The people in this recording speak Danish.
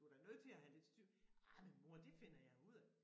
Du da nødt til at have lidt styr ah men mor det finder jeg ud af